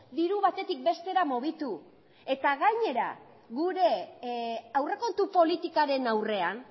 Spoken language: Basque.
diru batetik bestera mugitu eta gainera gure aurrekontu politikaren aurrean